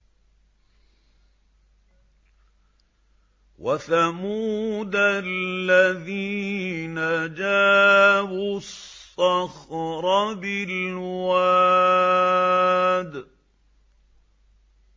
وَثَمُودَ الَّذِينَ جَابُوا الصَّخْرَ بِالْوَادِ